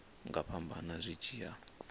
nga fhambana zwi tshi ya